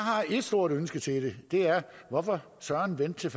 ét stort ønske til det det er hvorfor søren vente til